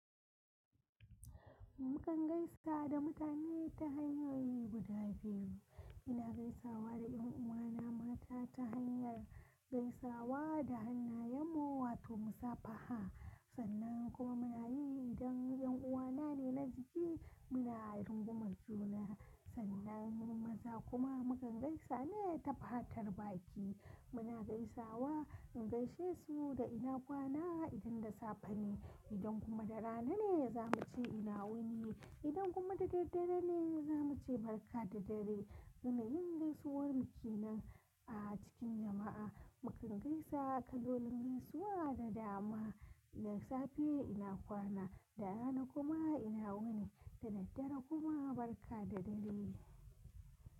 Mukan gaisa da mutane ta hanyoyi guda biyu. Ina gaisawa da yan uwana mata ta hanyar gaisawa da hannayen muwa toh mu safa ha. Sannan kuma muna yi idan yan uwana ne na jiki muna run gumar juna. Sannan maza kuma mukan gaisa ne ta fatar baki. Muna gaisawa in gaishe su da ina kwana idan da safe ne. Idan kuma da rana ne za mu ce ina wuni. Idan kuma da daddare ne za mu ce barka da dare. Yana yin gaisuwar muke nan a cikin jama'a. Mukan gaisa kalolin gaisuwa da dama. Da safe ina kwana, da rana kuma ina wuni, da daddare kuma barka da dare.